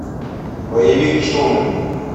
боевик штурм